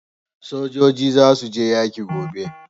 Sojoji za su je yaƙi gobe